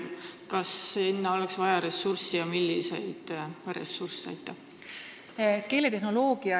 Kas selle arendamiseks oleks vaja lisaressursse ja kui oleks, siis milliseid ressursse?